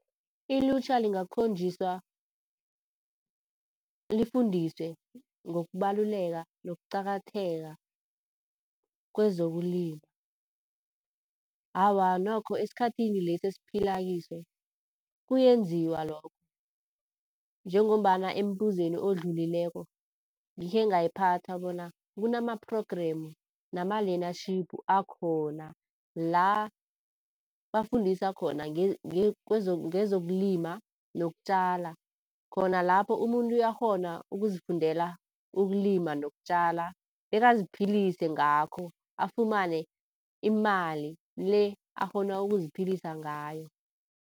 Ilutjha lingakhonjiswa, lifundiswe, ngokubaluleka nokuqakatheka kwezokulima. Awa nokho esikhathini lesi esiphilakiso kuyenziwa lokho. Njengombana embuzweni odlulileko ngikhengayiphatha bona kunama-program, nama-learnership akhona la bafundisa khona ngezokulima nokutjala. Khona lapho umuntu uyakghona ukuzifundela ukulima nokutjala, bekaziphilise ngakho afumane imali le akghona ukuziphilisa ngayo.